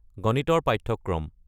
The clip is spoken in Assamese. গণিতৰ পাঠ্যক্ৰম